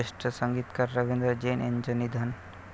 ज्येष्ठ संगीतकार रवींद्र जैन यांचं निधन